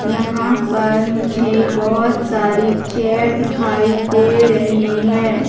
यहाँ पर मुझे बहोत सारी चेयर दिखाई दे रहीं हैं।